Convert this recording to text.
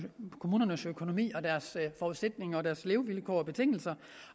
kommunernes økonomi og deres forudsætninger og deres levevilkår og betingelser